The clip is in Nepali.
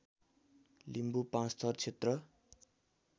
लिम्बू पाँचथर क्षेत्र